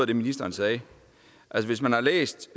det ministeren sagde altså hvis man har læst